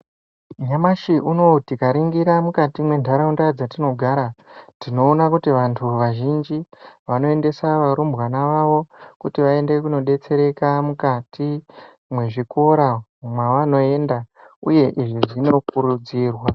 Nyamashi unowu tikaringira mukati mwentaraunda dzatinogara, tinoona kuti vantu vazhinji, vanoendesa varumbwana vavo kuti vaende kundodetsereka mukati mwezvikora mwavanoenda ,uye izvi zvinokurudzirwa.